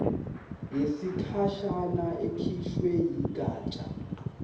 yesikhashana ekhishwe yigatsha